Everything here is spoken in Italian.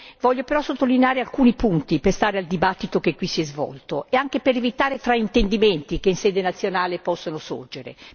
Voglio però sottolineare alcuni punti, per stare al dibattito che qui si è svolto e anche per evitare fraintendimenti che in sede nazionale possono sorgere.